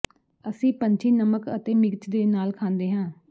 ਅਸੀਂ ਪੰਛੀ ਨਮਕ ਅਤੇ ਮਿਰਚ ਦੇ ਨਾਲ ਖਾਂਦੇ ਹਾਂ